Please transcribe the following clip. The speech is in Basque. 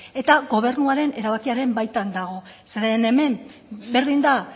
eta gobernuaren erabakiren baitan dago zeren hemen berdin da